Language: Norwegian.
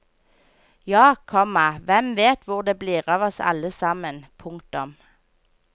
Ja, komma hvem vet hvor det blir av oss alle sammen. punktum